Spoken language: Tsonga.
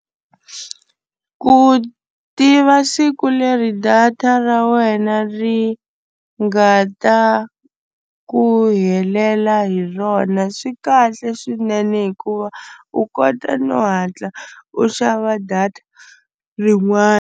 Ku tiva siku leri data ra wena ri nga ta ku helela hi rona swi kahle swinene hikuva u kota no hatla u xava data rin'wani.